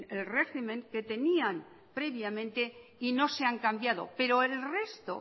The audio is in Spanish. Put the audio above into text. el régimen que tenían previamente y no se han cambiado pero el resto